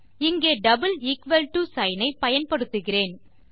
இங்கே double equal to sign ஐ பயன்படுத்துகிறேன்